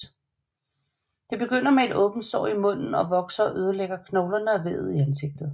Det begynder med et åbent sår i munden som vokser og ødelægger knoglerne og vævet i ansigtet